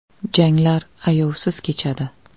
Janglar ayovsiz kechadi.